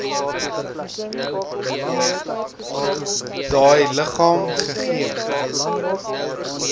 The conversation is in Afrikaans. daai liggaam gegee